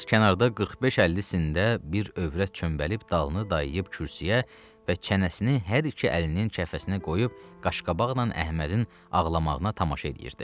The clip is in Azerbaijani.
Bir az kənarda 45-50-sində bir övrət çönbəlib dalını dayayıb kürsüyə və çənəsini hər iki əlinin kəfəsinə qoyub qaş-qabaqla Əhmədin ağlamağına tamaşa eləyirdi.